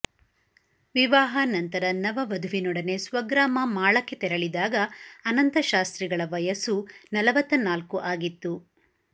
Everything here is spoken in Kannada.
ವಿವಾಹಾನಂತರ ನವ ವಧುವಿನೊಡನೆ ಸ್ವಗ್ರಾಮ ಮಾಳಕ್ಕೆ ತೆರಳಿದಾಗ ಅನಂತ ಶಾಸ್ತ್ರಿಗಳ ವಯಸ್ಸು ನಲ್ವತ್ತನಾಲ್ಕು ಆಗಿತ್ತು